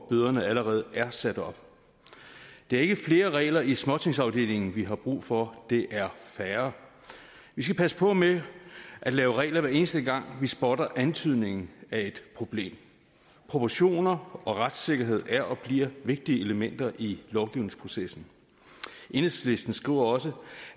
bøderne allerede er sat op det er ikke flere regler i småtingsafdelingen vi har brug for det er færre vi skal passe på med at lave regler hver eneste gang vi spotter antydningen af et problem proportioner og retssikkerhed er og bliver vigtige elementer i lovgivningsprocessen enhedslisten skriver også